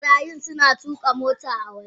Marayun suna tuka mota a waje.